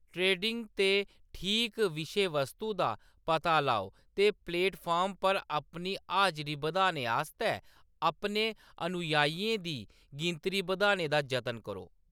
Trending ते ठीक विषयवस्तु दा पता लाओ ते प्लेटफार्म पर अपनी हाजरी बधाने आस्तै अपने अनुयायियें दी गिनतरी बधाने दा जतन करो।